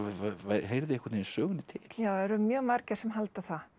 heyrði einhvern veginn sögunni til já það eru mjög margir sem halda það